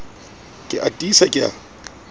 ke a tiisa ke a